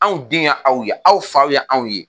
Anw den ye aw ye aw fa ye anw ye